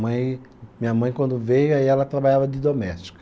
Mãe, minha mãe, quando veio, aí ela trabalhava de doméstica.